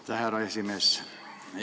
Aitäh, härra esimees!